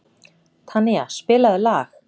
Tanía, spilaðu lag.